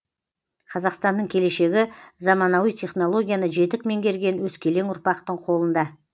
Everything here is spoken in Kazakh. қазақстанның келешегі заманауи технологияны жетік меңгерген өскелең ұрпақтың қолында